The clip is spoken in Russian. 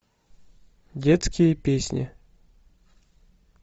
детские песни